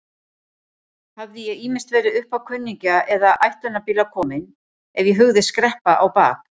Hafði ég ýmist verið uppá kunningja eða áætlunarbíla kominn ef ég hugðist skreppa á bak.